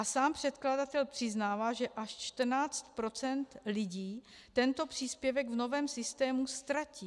A sám předkladatel přiznává, že až 14 % lidí tento příspěvek v novém systému ztratí.